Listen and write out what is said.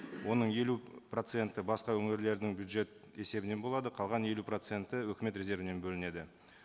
оның елу проценті басқа өңірлердің бюджет есебінен болады қалған елу проценті өкімет резервінен бөлінеді